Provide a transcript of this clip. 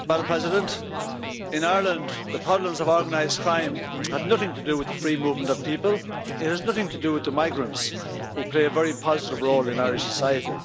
Madam President, in Ireland the problems of organised crime have nothing to do with the free movement of people, it has nothing to do with the migrants, who play a very positive role in our society.